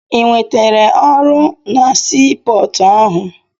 Ị nwetere ọrụ na sii pọọtụ ahụ?